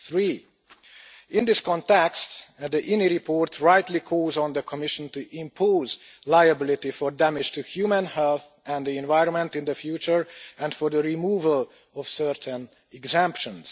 3. In this context, the INI report rightly calls on the Commission to impose liability for damage to human health and the environment in the future and also calls for the removal of certain exemptions.